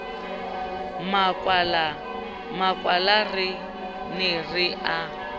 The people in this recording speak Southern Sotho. makwala re ne re a